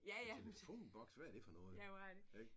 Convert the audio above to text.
En telefonboks? Hvad er det for noget? Ik